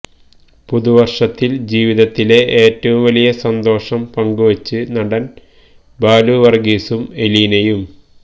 പുതുവര്ഷത്തില് ജീവിതത്തിലെ ഏറ്റവും വലിയ സന്തോഷം പങ്കുവച്ച് നടൻ ബാലു വര്ഗീസും എലീനയും